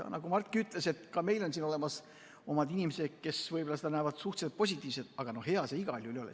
Nagu Mart ütles, meilgi on olemas omad inimesed, kes võib-olla näevad seda suhteliselt positiivselt, aga no hea see igal juhul ei ole.